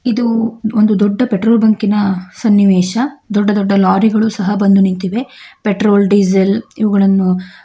ಇದು ಒಂದು ದೊಡ್ಡ ಪೆಟ್ರೋಲ್ ಬಂಕಿನ ಸನ್ನಿವೇಶ ದೊಡ್ಡ ದೊಡ್ಡ ಲಾರಿಗಳು ಸಹ ಬಂದು ನಿಂತಿವೆ ಪೆಟ್ರೋಲ್ ಡೀಸೆಲ್ ಇವುಗಳನ್ನು --